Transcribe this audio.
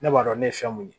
Ne b'a dɔn ne ye fɛn mun ye